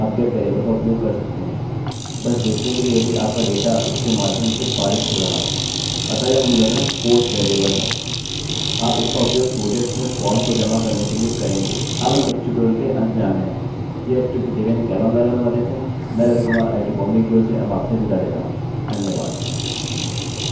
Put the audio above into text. यह स्क्रिप्ट देवेन्द्र कैरवान द्वारा अनुवादित हैमैं रवि कुमार आईआईटीबॉम्बे की ओर से अब आपसे विदा लेता हूँ धन्यवाद